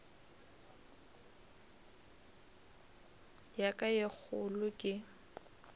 ya ka ye kgolo ke